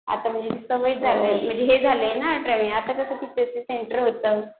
आता म्हणजे सवय हे झालाय ना आता कसं तिथे ते सेंटर होतं